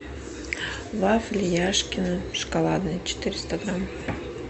вафли яшкино шоколадные четыреста грамм